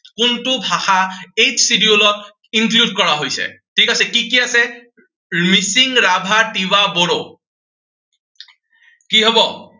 কোনটো ভাষা eighth schedule ত include কৰা হৈছে। ঠিক আছে, কি কি আছে? মিচিং, ৰাভা, তিৱা বড়ো। কি হব?